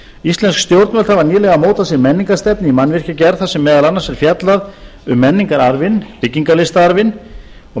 íslensk stjórnvöld hafa nýlega mótað sér menningarstefnu í mannvirkjagerð þar sem meðal annars er fjallað um menningararfinn byggingarlistaarfinn menntamálaráðherra skipaði